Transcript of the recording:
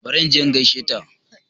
Bari inje in gaishe ta